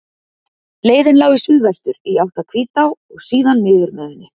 Leiðin lá í suðvestur, í átt að Hvítá og síðan niður með henni.